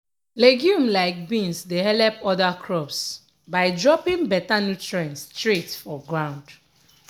legume like beans dey helep other crops by dropping better nutrients straight for ground.